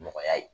Nɔgɔya ye